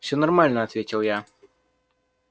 всё нормально ответил я